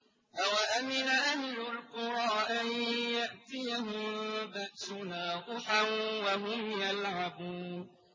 أَوَأَمِنَ أَهْلُ الْقُرَىٰ أَن يَأْتِيَهُم بَأْسُنَا ضُحًى وَهُمْ يَلْعَبُونَ